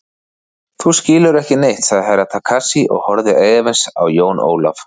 Þú skilur ekki neitt, sagði Herra Takashi og horfði efins á Jón Ólaf.